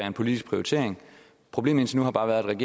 en politisk prioritering problemet indtil nu har bare været at